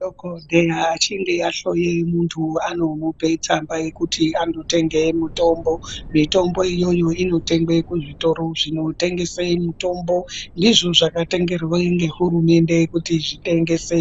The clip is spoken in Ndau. Madhogodheya achinge ahloye muntu anomupe tsamba yekuti anotenge mutombo. Mitombo iyoyo inotengwe kuzvitoro zvinotengese mitombo. Ndizvo zvakatenderwe nehurumende kuti zvitengese